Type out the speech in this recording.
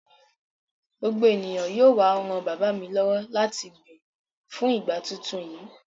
Gbogbo ènìyàn yóò wá ran bàbá mi lọ́wọ́ láti gbin fún ìgbà tuntun yìí.